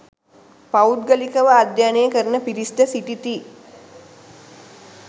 පෞද්ගලිකව අධ්‍යයනය කරන පිරිස්ද සිටිති.